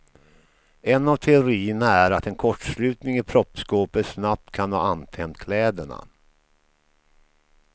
En av teorierna är att en kortslutning i proppskåpet snabbt kan ha antänt kläderna.